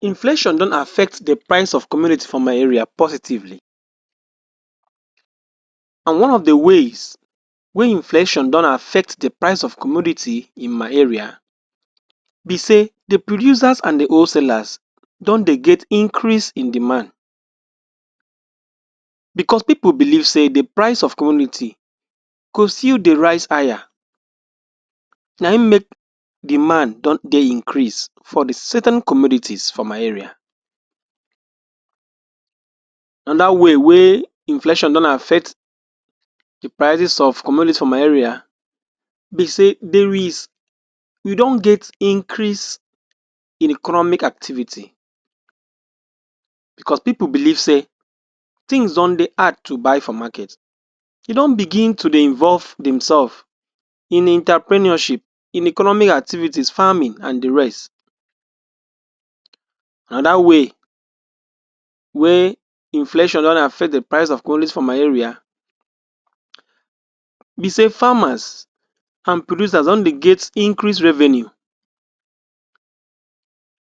Inflation don affect di price of commodity for my area positively, and one of di ways wey inflation don affect di price of commodity in my area be say di producers and di whole salers don dey get increase in demand, bicos pipo believe say Di price of commodity go still dey rise higher na im make demands don dey increase for di certain communities for my area. Anoda way wey inflation don affect di prices of commodity for my area be say, there's, we don get increase in economic activities bicos pipo believe say tins don dey hard to buy for market. E don begin to dey involve dem sefs in entrepreneurship, in economic activity, farming and di rest. Anoda way wey inflation don dey affect di prices of commodity for my area be say farmers and producers don dey get increase revenue,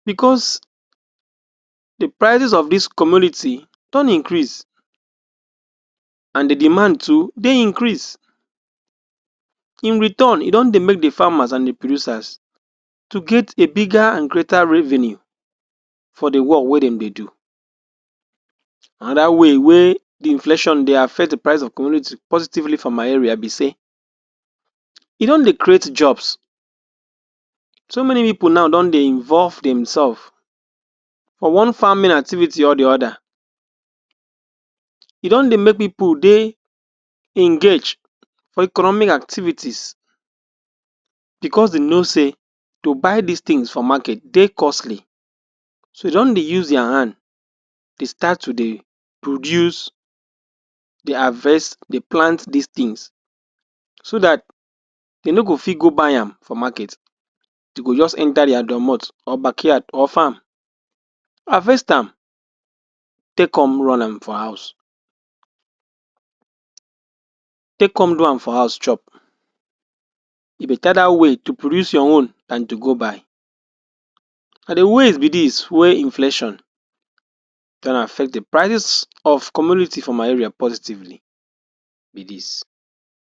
bicos di prices of dis commodities don increase and di demands too dey increase in return e don dey make di farmers and producers to get a bigger and greater revenue for di work wey dem dey do. Anoda way wey di inflation dey affect di prices of commodity positively for my area be say, e don dey create jobs, So, many pipo now don dey involve dem sef for one farming activities or di oda. E don dey make pipo dey engaged for economic activities bicos dem know say to buy dis tins for market dey costly so dem don dey use dia hands dey start to dey produce, dey harvest, dey plant dis tins so dat dem no go fit go buy am for market, dem go just enta dia dormot or backyards or farm harvest am take come run am for house. Take come do am for house chop. E betta dat way, to produce your own dan to go buy. Na di ways be dis wey inflation don affect di prices of commodity for my area positively be dis.